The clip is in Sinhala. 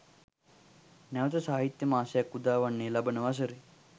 නැවත සාහිත්‍යය මාසයක් උදා වන්නේ ලබන වසරේ